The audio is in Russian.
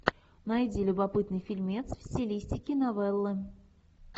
найди любопытный фильмец в стилистике новеллы